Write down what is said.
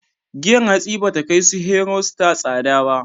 Giyar hatsi ba ta kai su Hero, Star tsada ba.